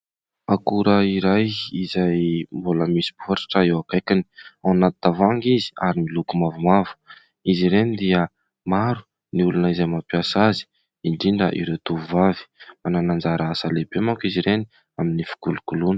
Akora iray izay mbola misy baoritra eo akaikiny, ao anaty tavoahangy izy, ary miloko mavomavo. Izy ireny dia maro ny olona izay mampiasa azy, indrindra ireo tovovavy. Manana anjara asa lehibe manko izy ireny amin'ny fikolokoloana.